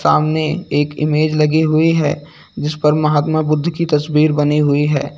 आमने एक इमेज लगी हुई है जिस पर महात्मा बुद्ध की तस्वीर बनी हुई है।